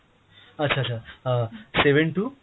আচ্ছ আচ্ছা, ah seven two